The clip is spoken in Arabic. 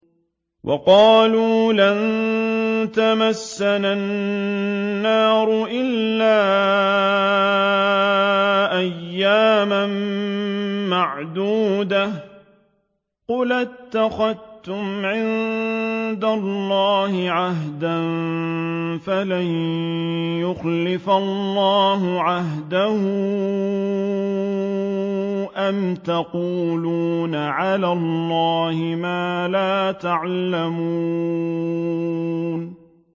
وَقَالُوا لَن تَمَسَّنَا النَّارُ إِلَّا أَيَّامًا مَّعْدُودَةً ۚ قُلْ أَتَّخَذْتُمْ عِندَ اللَّهِ عَهْدًا فَلَن يُخْلِفَ اللَّهُ عَهْدَهُ ۖ أَمْ تَقُولُونَ عَلَى اللَّهِ مَا لَا تَعْلَمُونَ